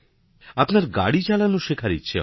আপনার গাড়ি চালানো শেখার ইচ্ছা হয়